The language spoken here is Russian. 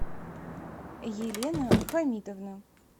елена хамитовна